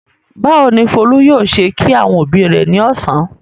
Báwo ni Folú yóò ṣe kí àwọn òbí rẹ̀ ní ọ̀sán?